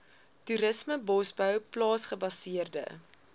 toerisme bosbou plaasgebaseerde